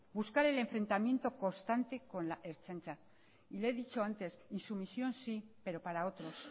buscar el enfrentamiento constante con la ertzaintza y le he dicho antes insumisión sí pero para otros